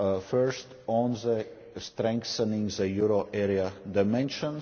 First, on strengthening the euro area dimension.